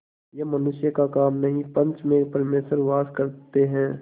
यह मनुष्य का काम नहीं पंच में परमेश्वर वास करते हैं